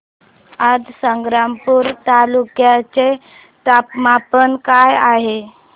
आज संग्रामपूर तालुक्या चे तापमान काय आहे